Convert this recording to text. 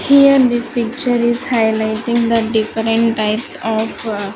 Here this picture is highlighting the different types of --